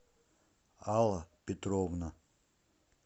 алла петровна